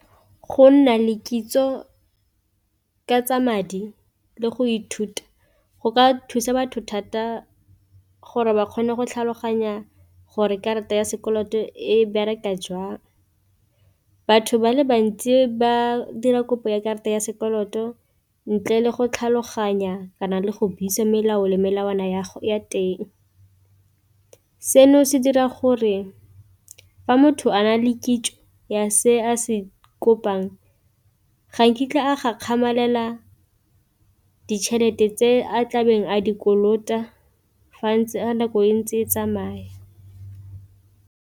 Go nna le kitso ka tsa madi le go ithuta go ka thusa batho thata gore ba kgone go tlhaloganya gore karata ya sekoloto e bereka jang, batho ba le bantsi ba dira kopo ya karata ya sekoloto ntle le go tlhaloganya kana le go buisa melao le melawana ya teng, seno se dira gore fa motho a na le kitso ya se a se kopang ga nkitla a gakgamalela ditšhelete tse a tlabeng a dikolota fa ntse a nako e ntse e tsamaya.